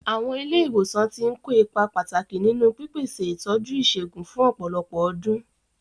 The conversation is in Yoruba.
Àwọn ilé ìwòsàn ti ń kó ipa pàtàkì nínú pípèsè ìtọ́jú ìṣègùn fún ọ̀pọ̀lọpọ̀ ọdún.